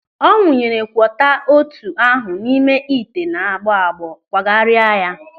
Ọ wunyere kwoka ôtù ahụ n'ime ite na-agbọ agbọ kpagharia ya.